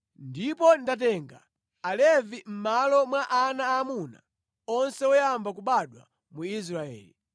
Ndipo ndatenga Alevi mʼmalo mwa ana aamuna onse oyamba kubadwa mu Israeli.